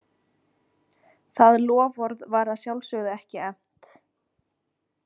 Það loforð var að sjálfsögðu ekki efnt.